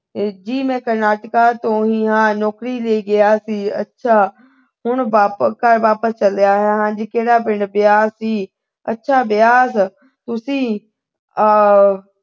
ਜੀ ਮੈਂ ਕਰਨਾਟਕਾ ਤੋਂ ਹੀ ਹਾਂ। ਨੌਕਰੀ ਲਈ ਗਿਆ ਸੀ। ਅੱਛਾ, ਹੁਣ ਵਾਪ ਅਹ ਘਰ ਵਾਪਸ ਚਲਿਆ ਆ। ਕਿਹੜਾ ਪਿੰਡ। ਬਿਆਸ ਜੀ। ਅੱਛਾ, ਬਿਆਸ। ਤੁਸੀਂ ਆਹ